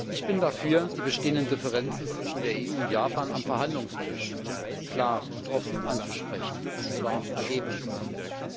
Ich bin dafür, die bestehenden Differenzen zwischen der EU und Japan am Verhandlungstisch klar und offen anzusprechen, und zwar ergebnisoffen.